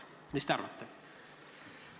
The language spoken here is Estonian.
Mis te arvate?